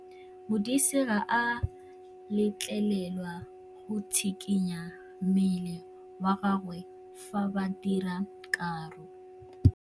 Modise ga a letlelelwa go tshikinya mmele wa gagwe fa ba dira karô.